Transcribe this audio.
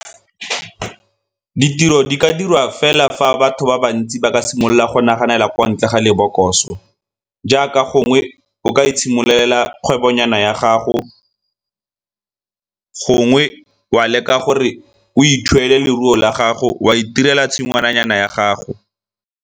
Ditiro di ka dirwa fela fa batho ba bantsi ba ka simolola go naganela kwa ntle ga lebokoso, jaaka gongwe o ka itshimololela kgwebo nyana ya gago gongwe wa leka gore o ithuele leruo la gago o a itirela tshingwana nyana ya gago.